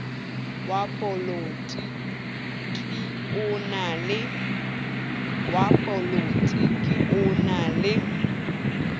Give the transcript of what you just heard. wa polotiki o na le